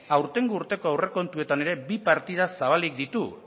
aurtengo urteko aurrekontuetan ere bi partida zabalik ditu